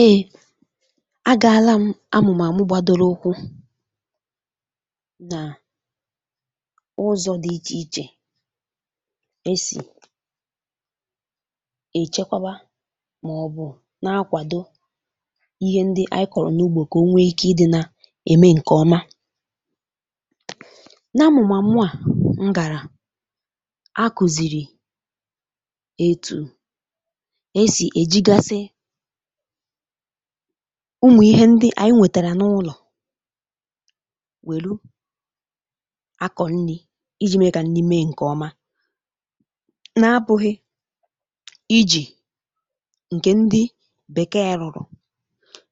eė a gà-ala amụ̀màmụ gbadoro okwu nà ụzọ̇ dị ichè ichè e sì è chekwaba um màọ̀bụ̀ na-akwàdo ihe ndị anyị kọ̀rọ̀ n’ugbȯ kà o nwee ike ị dị na ème ǹkè ọma na amụ̀màmụ à m gàrà a kùzìrì e tù e sì è jigasị ụmụ̀ ihe ndị ànyị nwètàrà n’ụlọ̀ wèlu akọ̀ nni̇ iji̇ mee kà nni mee ǹkè ọma na-apụ̀ghị̀ ijì ǹkè ndị bèkee rụ̀rụ̀